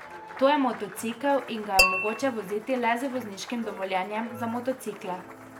To je motocikel in ga je mogoče voziti le z vozniškim dovoljenjem za motocikle.